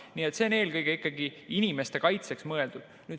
Nii et see on eelkõige ikkagi inimeste kaitseks mõeldud.